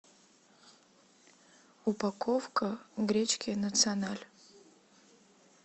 упаковка гречки националь